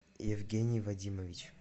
евгений вадимович